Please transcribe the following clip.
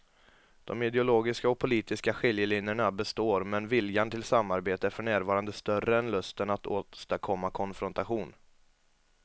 De ideologiska och politiska skiljelinjerna består men viljan till samarbete är för närvarande större än lusten att åstadkomma konfrontation.